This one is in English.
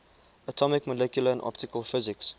atomic molecular and optical physics